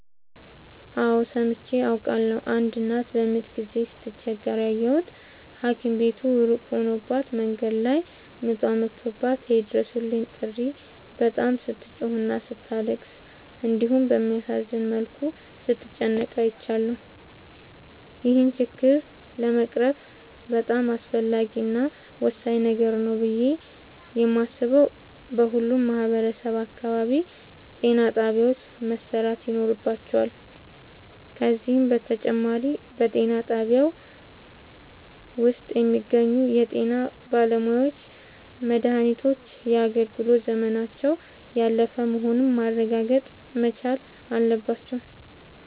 አዎድ ሠምቼ አውቃለሁ። አንድ እናት በምጥ ጊዜ ስትቸገር ያየሁት ታኪም ቤቱ እሩቅ ሆኖባት መንገድ ላይ ምጧ መቶባት የይድረሡልኝ ጥሪ በጣም ስትጮህና ስታለቅስ እንዲሁም በሚያሳዝን መልኩ ስትጨነቅ አይቻለሁ። ይህን ችግር ለመቅረፍ በጣም አስፈላጊ እና ወሳኝ ነገር ነው ብሌ የማሥበው በሁሉም ማህበረሠብ አካባቢ ጤናጣቢያዎች መሠራት ይኖርባቸዋል። ከዚህም በተጨማሪ በጤናጣቢያው ውስጥ የሚገኙ የጤናባለሙያዎች መድሃኒቶች የአገልግሎት ዘመናቸው ያላለፈ መሆኑን ማረጋገጥ መቻል አለባቸው።